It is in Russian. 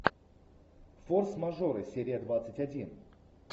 форс мажоры серия двадцать один